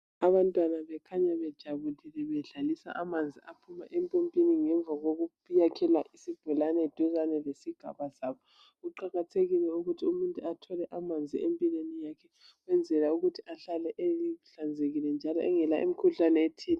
Abantwana bakhanya bejabulile bedlalisa amanzi aphuma empompini, ngemva kokuyakhela isibholani duzane lesigaba sabo kuqakathekile ukuthi umuntu athole amanzi empilweni yakhe ukwenzela ukuthi ahlale ehlanzekile njalo engela imikhuhlane ethile.